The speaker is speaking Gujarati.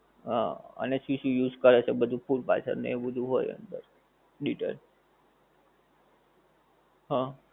હા અને શું શું use કરે છે બધું food પાછળ એવું બધું હોએ અંદર detail હા